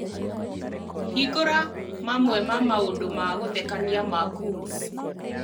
hingura mamwe ma maũndũ ma gũthekania ma cools